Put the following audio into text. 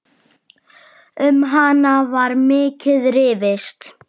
Um hana var mikið rifist.